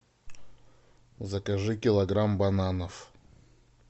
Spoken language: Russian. закажи килограмм бананов